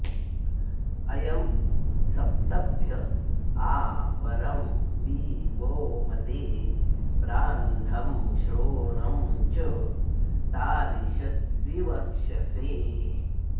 अयं सप्तभ्य आ वरं वि वो मदे प्रान्धं श्रोणं च तारिषद्विवक्षसे